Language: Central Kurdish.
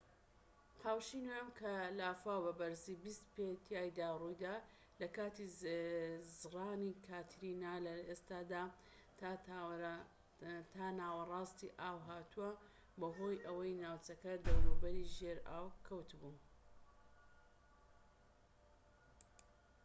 قاوشی نۆیەم کە لافاو بە بەرزی 20 پێ تیایدا ڕوویدا لە کاتی زرانی کاترینا لە ئێستادا تا ناوەڕاستی ئاو هاتووە بەهۆی ئەوەی ناوچەی دەوروبەری ژێر ئاو کەوت بوو